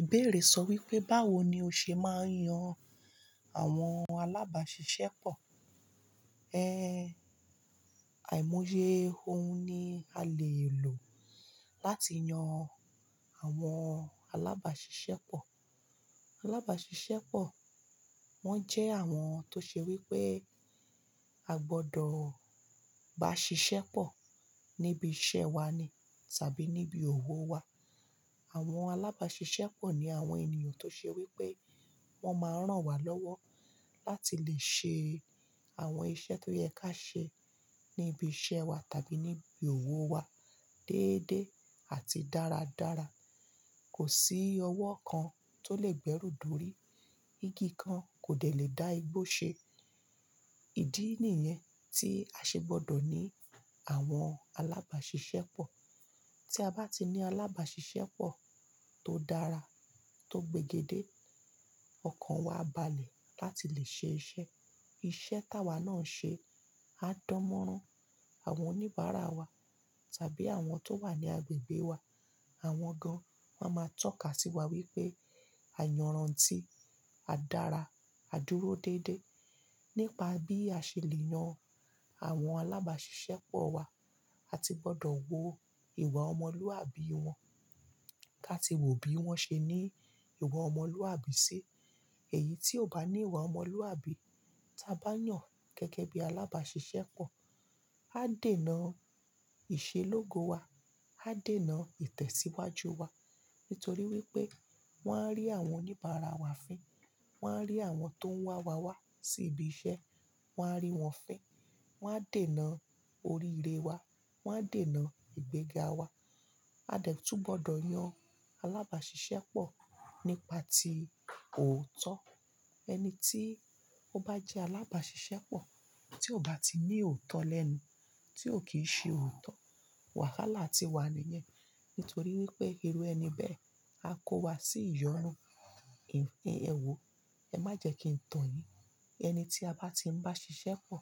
Ìbéèrè sọ wípé, báwo ni o ṣe máa ń yan àwọn alábàáṣiṣẹ́ pọ̀? Òun ni a lè lò láti yan àwọn alábàáṣiṣẹ́ pọ̀. Alábàáṣiṣẹ́ pọ̀, wọ́n jẹ́ àwọn tó ṣe wípé a gbọdọ̀ bá ṣiṣẹ́ pọ̀ níbi iṣẹ́ wa ni tàbí níbi òwò wa. Àwọn alábàáṣiṣẹ́ pọ̀ ní àwọn ènìyàn tó ṣe wípé wọ́n máa rán wa lọ́wọ́ láti lè ṣe àwọn iṣẹ́ tó yẹ ká ṣe níbi iṣẹ́ wa tàbí níbi òwò wa déédéé àti dáradára. Kò sí ọwọ́ kan tó lè gbẹ́rù dórí, igi kan kò dẹ̀ lè dá igbó ṣe Ìdí nìyẹn tí a ṣe gbọdọ̀ ní àwọn alábàáṣiṣẹ́ pọ̀. Tí a bá ti ní alábàáṣiṣẹ́ pọ̀ tó dára, tó gbigedé, ọkàn wa balẹ̀ láti lè ṣe iṣẹ́. Iṣẹ́ táwa náà ń ṣe á dánmọ́rán àwọn oníbàárà wa tàbí àwọn tó wà ní agbègbè wa. Àwọn gan máa ma tọ́ka sí wa wípé, "Àyànran ti, a dára, a dúró déédéé." Nípa bí a ṣe lè yan àwọn alábàáṣiṣẹ́ pọ̀ wa, a ti gbọdọ̀ wo ìwà ọmọlúwàbí wọn. Ká ti wo bí wọ́n ṣe ní ìwà ọmọlúwàbí sí. Èyí tí ò bá ní ìwà ọmọlúwàbí ta bá yàn gẹ́gẹ́ bí alábàáṣiṣẹ́ pọ̀, á dènà ìṣelógo wa, á dènà ìtẹ̀síwájú wa. Nítorí wípé wọ́n á rí àwọn oníbàárà wa fín, wọ́n á rí àwọn tó ń wá wa wá sí ibi iṣẹ́, wọ́n á rí wọn fín, wọ́n á dènà oríire wa, wọ́n á dènà ìgbéga wa. A dẹ̀ tún gbọdọ̀ yan alábàáṣiṣẹ́ pọ̀ nípa tí òótọ́. Ẹni tí ó bá jẹ́ alábàáṣiṣẹ́ pọ̀ tí ò bá ti ní òótọ́ lẹ́nu, tí ò kí ń ṣe òótọ́, wàhálà ti wà níyẹn. Nítorí wípé irú ẹni bẹ́ẹ̀ á kó wa sí ìyọ̀nú. Èwò, ẹ má jẹ kí n tàn yín. Ẹni tí a bá ti ń bá ṣiṣẹ́ pọ̀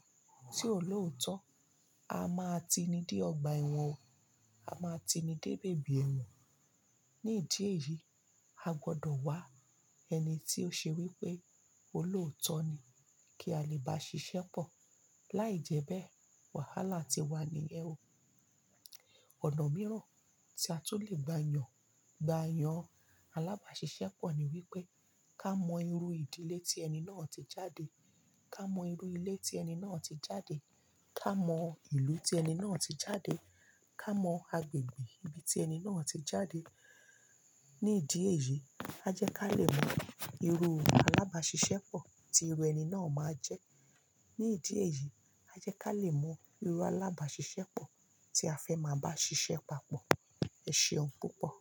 tí ò lóòótọ́, a máa ti ní dé ọgbà ẹ̀wọ̀n o, a máa ti ní dé bèbí ẹ̀wọ̀n. Ní ìdí èyí, a gbọdọ̀ wá ẹni tí ó ṣe wípé ó lóòótọ́ ni kí a lè bá ṣiṣẹ́ pọ̀. Láìjẹ́bẹ́ẹ̀, wàhálà ti wà nìyẹn ò. Ọ̀nà mìíràn tí a tún lè gba yàn, gba yàn alábàáṣiṣẹ́ pọ̀ ni wípé ká mọ irú ìdílé tí ẹni náà ti jáde, ká mọ irú ilé tí ẹni náà ti jáde, ká mọ ìlú tí ẹni náà ti jáde, ká mọ agbègbè ibi tí ẹni náà ti jáde. Ní ìdí èyí, a jẹ́ ká lè mọ irú alábàáṣiṣẹ́ pọ̀ tí irú ẹni náà máa jẹ́. Ní ìdí èyí, a jẹ́ ká lè mọ irú alábàáṣiṣẹ́ pọ̀ tí a fẹ́ máa bá ṣiṣẹ́ papọ̀. Ẹ ṣéun púpọ̀.